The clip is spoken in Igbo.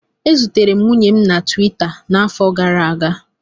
E zutere m nwunye m na Tuwita n'afọ gara aga